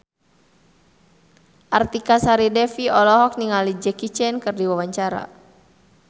Artika Sari Devi olohok ningali Jackie Chan keur diwawancara